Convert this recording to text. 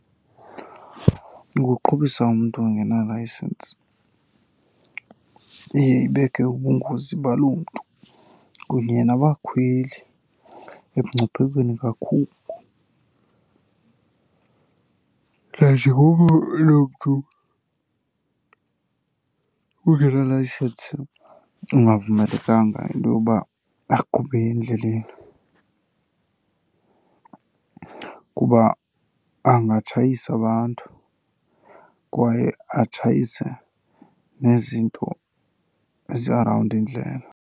Ukuqhubisa umntu ongenalayisensi iye ibeke ubungozi baloo mntu kunye nabakhweli emngciphekweni kakhulu, nanjengoko loo mntu ungenalayisensi ungavumelekanga into yoba aqhube endleleni kuba angatshayisa abantu kwaye atshayise nezinto ezi-around indlela.